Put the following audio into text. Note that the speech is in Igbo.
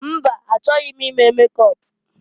Mba! Achọghị m ime mekọp.